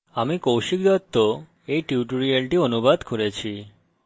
আমি কৌশিক দত্ত এই টিউটোরিয়ালটি অনুবাদ করেছি অংশগ্রহনের জন্য ধন্যবাদ